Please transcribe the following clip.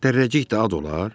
Dərrəcik də ad olar?